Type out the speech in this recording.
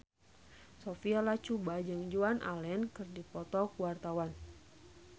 Sophia Latjuba jeung Joan Allen keur dipoto ku wartawan